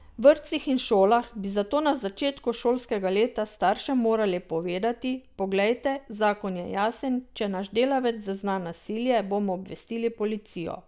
V vrtcih in šolah bi zato na začetku šolskega leta staršem morali povedati, poglejte, zakon je jasen, če naš delavec zazna nasilje, bomo obvestili policijo.